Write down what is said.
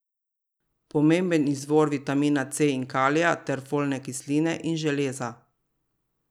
Pomemben izvor vitamina C in kalija ter folne kisline in železa.